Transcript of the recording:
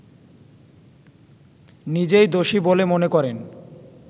নিজেই দোষী বলে মনে করেন